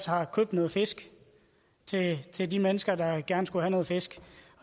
har købt noget fisk til til de mennesker der gerne skulle have noget fisk